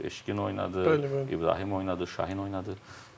Bu Eşqin oynadı, İbrahim oynadı, Şahin oynadı.